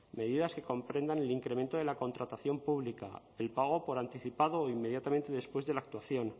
medidas que comprendan el incremento de la contratación pública el pago por anticipado o inmediatamente después de la actuación